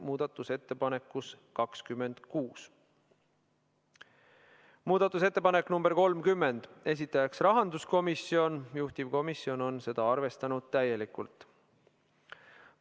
Muudatusettepanek nr 30, esitajaks on rahanduskomisjon, juhtivkomisjon on arvestanud seda täielikult.